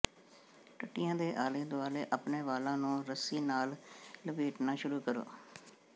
ਟੱਟੀਆਂ ਦੇ ਆਲੇ ਦੁਆਲੇ ਆਪਣੇ ਵਾਲਾਂ ਨੂੰ ਰੱਸੀ ਨਾਲ ਲਪੇਟਣਾ ਸ਼ੁਰੂ ਕਰੋ